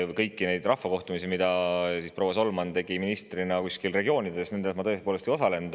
Kõigil neil rahvakohtumistel, mida proua Solman ministrina pidas kuskil regioonides, ma tõepoolest ei osalenud.